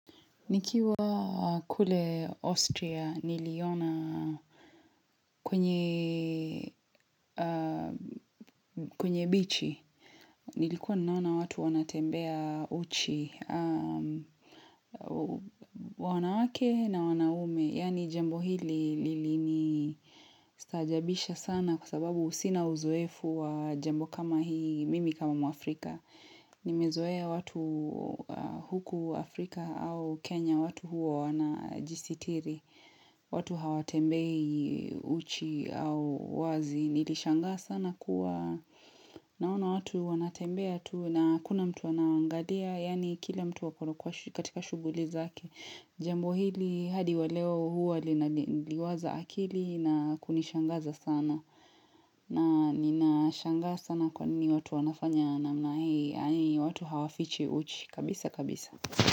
Nikiwa kule Austria, niliona kwenye bichi. Nilikuwa ninaona watu wanatembea uchi. Wanawake na wanaume. Yaani jambo hili lilinistaajabisha sana kwa sababu sina uzoefu wa jambo kama hii, mimi kama mwafrika. Nimezoea watu huku Afrika au Kenya, watu huwa wanajisitiri. Watu hawatembei uchi au wazi Nilishangaa sana kuwa Naona watu wanatembea tu na hakuna mtu anawaangalia Yaani kila mtu ako katika shughuli zake Jambo hili hadi wa leo huwa linaliwaza akili na kunishangaza sana na ninashangaa sana kwa nini watu wanafanya namna hii watu hawafichi uchi kabisa kabisa.